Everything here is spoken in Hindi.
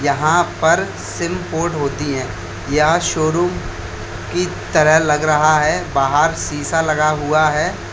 यहां पर सिम पोर्ट होती है। यह शोरूम की तरह लग रहा है। बाहर शीशा लगा हुआ है।